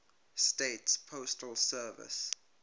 states postal service